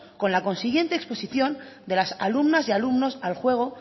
con la consiguiente exposición de las alumnas y alumnos al juego